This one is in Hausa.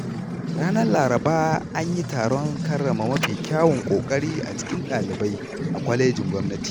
Ranar Laraba an yi taron karrama mafi kyawun ƙoƙari a cikin ɗalibai a kwalejin gwamnati.